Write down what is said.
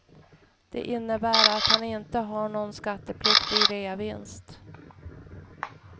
Det innebär att han inte har någon skattepliktig reavinst.